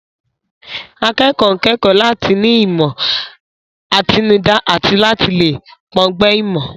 Akẹ́kọ̀ọ́ ń kẹ́kọ̀ọ́ láti ní ìmọ̀ àtinúdá àti láti lè pọ̀ǹgbẹ ìmọ̀.